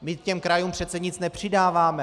My těm krajům přece nic nepřidáváme.